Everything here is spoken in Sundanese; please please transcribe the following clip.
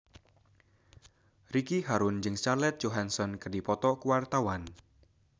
Ricky Harun jeung Scarlett Johansson keur dipoto ku wartawan